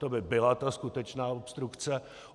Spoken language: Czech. To by byla ta skutečná obstrukce.